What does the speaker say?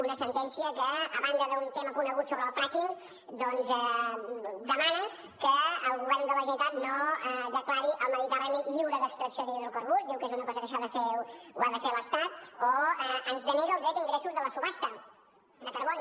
una sentència que a banda d’un tema conegut sobre el fracking doncs demana que el govern de la generalitat no declari el mediterrani lliure d’extracció d’hidrocarburs diu que és una cosa que això ho ha de fer l’estat o ens denega el dret a ingressos de la subhasta de carboni